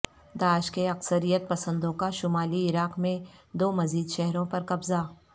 داعش کے عسکریت پسندوں کا شمالی عراق میں دو مزید شہروں پر قبضہ